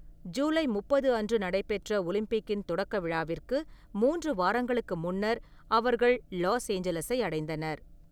ஜூலை முப்பது அன்று நடைபெற்ற ஒலிம்பிக்கின் தொடக்க விழாவிற்கு மூன்று வாரங்களுக்கு முன்னர் அவர்கள் லாஸ் ஏஞ்சல்ஸை அடைந்தனர்.